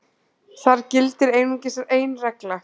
Þar gildir einungis ein regla.